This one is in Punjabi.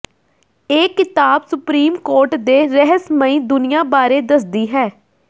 ਇਹ ਕਿਤਾਬ ਸੁਪਰੀਮ ਕੋਰਟ ਦੇ ਰਹੱਸਮਈ ਦੁਨੀਆ ਬਾਰੇ ਦੱਸਦੀ ਹੈ